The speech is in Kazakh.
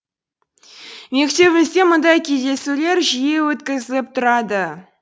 мектебімізде мұндай кездесулер жиі өткізіліп тұрады